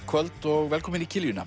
kvöld og velkomin í